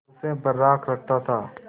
उसे बर्राक रखता था